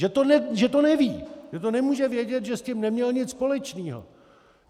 Že to neví, že to nemůže vědět, že s tím neměl nic společného.